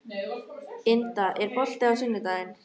Inda, er bolti á sunnudaginn?